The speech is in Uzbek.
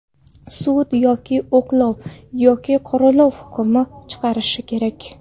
Sud yoki oqlov, yoki qoralov hukmini chiqarishi kerak.